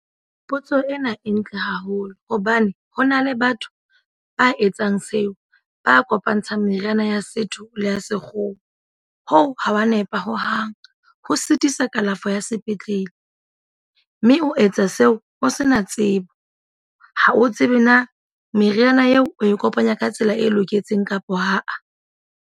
Potso ena e ntle haholo hobane ho na le batho ba etsang seo, ba kopantshang meriana ya setho le ya sekgowa. Hoo ha wa nepa hohang. Ho sitisa kalafo ya sepetlele. Mme o etsa seo o se na tsebo. Ha o tsebe na meriana eo o e kopanya ka tsela e loketseng kapa haa.